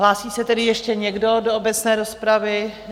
Hlásí se tedy ještě někdo do obecné rozpravy?